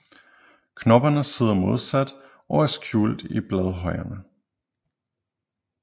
Knopperne sidder modsat og er skjult i bladhjørnerne